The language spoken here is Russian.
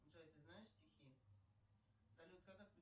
джой ты знаешь стихи салют как